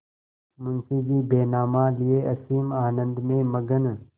मुंशीजी बैनामा लिये असीम आनंद में मग्न